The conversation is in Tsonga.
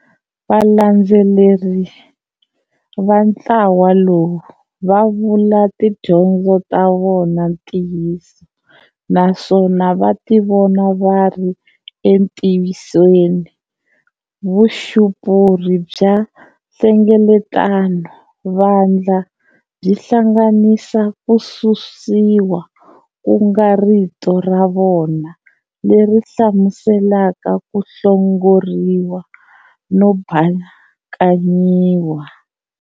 Valandzeleri vantlawa lowu va vula tidyondzo ta vona Ntiyiso naswona vativona vari entiyisweni. Vuxupuri bya nhlengeletano-vandla byi hlanganisa Kususiwa kunga rito ravona leri hlamuselaka ku hlongoriwa no bakanyiwa.